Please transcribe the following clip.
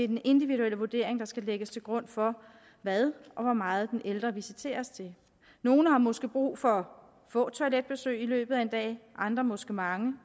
den individuelle vurdering der skal lægges til grund for hvad og hvor meget den ældre visiteres til nogle har måske brug for få toiletbesøg i løbet af en dag andre måske mange